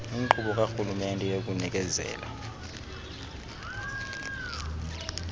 inkqubo karhulumente yokunikezela